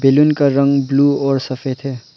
Balloon का रंग blue और सफेद है।